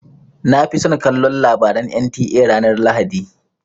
Na fi son kallon labaran NTA ranar lahadi.